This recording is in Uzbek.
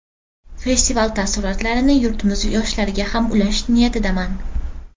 Festival taassurotlarini yurtimiz yoshlariga ham ulashish niyatidaman”.